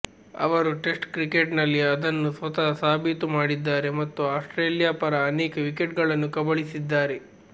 ಅವರು ಟೆಸ್ಟ್ ಕ್ರಿಕೆಟ್ನಲ್ಲಿ ಅದನ್ನು ಸ್ವತಃ ಸಾಬೀತು ಮಾಡಿದ್ದಾರೆ ಮತ್ತು ಆಸ್ಟ್ರೇಲಿಯಾ ಪರ ಅನೇಕ ವಿಕೆಟ್ಗಳನ್ನು ಕಬಳಿಸಿದ್ದಾರೆ